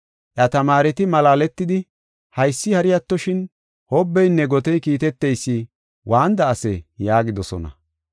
Iya tamaareti malaaletidi, “Haysi, hari attoshin, hobbeynne gotey kiiteteysi waanida asee?” yaagidosona.